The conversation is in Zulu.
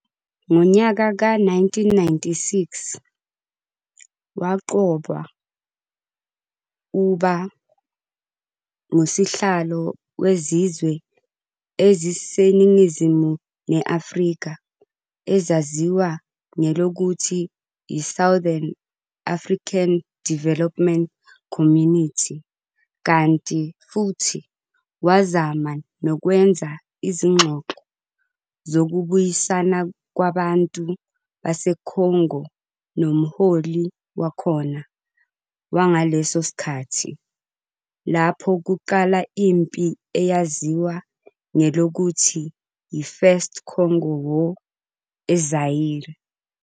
Ngonyaka ka 1996, waqokwa uuba nguSihlalo wezizwe eziseningizimu ne-Afrika, ezaziwa ngelokuthi yi-Southern African Development Community, kanti futhi wazama nokwenza izingxoxo zokubuyisana kwabantu baseCongo nomholi wakhona wangaleso sikhathi, lapho kuqala impi eyaziwa ngelokuthi yi-First Congo War eZaire.